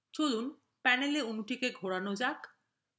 চলুন panelএ অনুটিকে ঘোরানো যাক